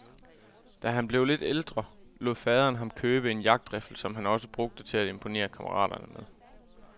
Da han blev lidt ældre, lod faderen ham købe en jagtriffel, som han også brugte til at imponere kammeraterne med.